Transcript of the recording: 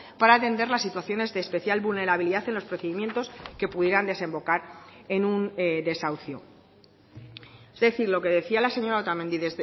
para atender las situaciones de especial vulnerabilidad en los procedimientos que pudieran desembocar en un desahucio es decir lo que decía la señora otamendi